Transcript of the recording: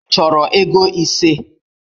Ị chọrọ ego ise?